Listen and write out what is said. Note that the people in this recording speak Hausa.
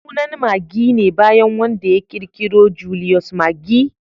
Sunan Maggi ne bayan wanda ya kirkiro Julius Maggi